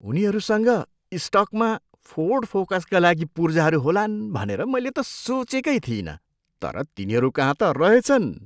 उनीहरूसँग स्टकमा फोर्ड फोकसका लागि पुर्जाहरू होलान् भनेर मैले त सोचेकै थिइनँ, तर तिनीहरूकहाँ त रहेछन्।